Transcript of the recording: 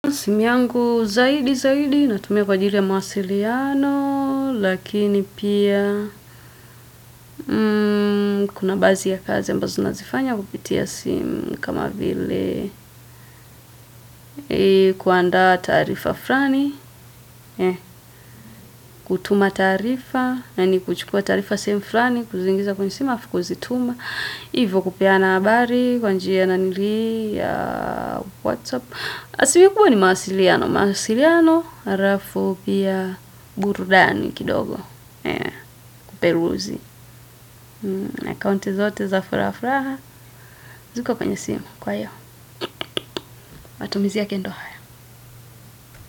Simu yangu zaidi zaidi natumia kwa ajili ya mawasiliano lakini pia kuna baadhi ya kazi ambazo nazifanya kwa kupitia simu kama vile kuandaa taarifa fulani, kutuma taarifa, yaani kuchukua taarifa sehemu fulani, kuzingiza kwenye simu alafu kuzituma. Hivo kupeana habari, kwa njia na ni ya WhatsApp. Simu kubwa ni mawasiliano. Mawasiliano, halafu pia burudani kidogo. Kuperuzi. Na kaunti zote za furaha furaha. Ziko kwenye simu kwa hiyo matumizia yake ndo haya.